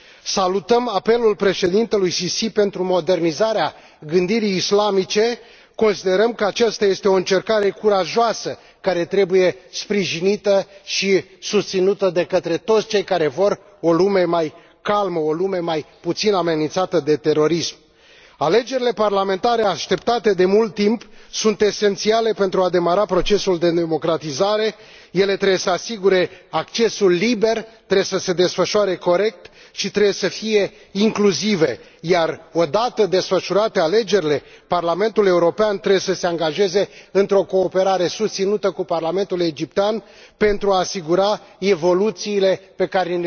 Salutăm apelul președintelui Sisi pentru modernizarea gândirii islamice, considerăm că aceasta este o încercare curajoasă, care trebuie sprijinită și susținută de către toți cei care vor o lume mai calmă, o lume mai puțin amenințată de terorism. Alegerile parlamentare așteptate de mult timp sunt esențiale pentru a demara procesul de democratizare. Ele trebuie să asigure accesul liber, trebuie să se desfășoare corect și trebuie să fie incluzive, iar, odată desfășurate alegerile, Parlamentul European trebuie să se angajeze într o cooperare susținută cu Parlamentul egiptean pentru a asigura evoluțiile